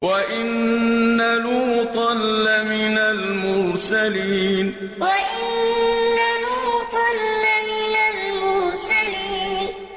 وَإِنَّ لُوطًا لَّمِنَ الْمُرْسَلِينَ وَإِنَّ لُوطًا لَّمِنَ الْمُرْسَلِينَ